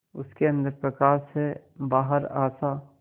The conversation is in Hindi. उसके अंदर प्रकाश है बाहर आशा